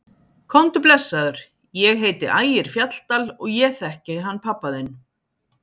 Komdu blessaður, ég heiti Ægir Fjalldal og ég þekki hann pabba þinn!